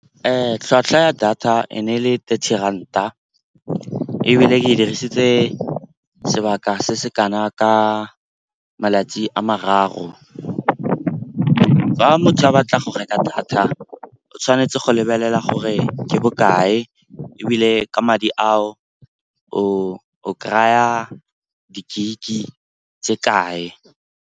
Tlhwatlhwa ya data e ne ele thirty ranta ebile e dirisitse sebaka se se kana ka malatsi a mararo. Fa motho a batla go reka data, o tshwanetse go lebelela gore ke bokae, ebile ka madi a o kry-a di-gig tse kae.